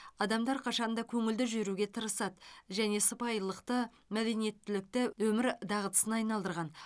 адамдар қашанда көңілді жүруге тырысады және сыпайылықты мәдениеттілікті өмір дағдысына айналдырған